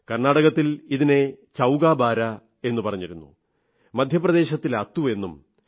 കർണാടകത്തിൽ ഇതിനെ ചൌകാബാരാ എന്നു പറഞ്ഞിരുന്നു മധ്യപ്രദേശിൽ അത്തു എന്നും